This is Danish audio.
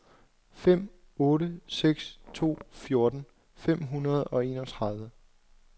fem otte seks to fjorten fem hundrede og enogtredive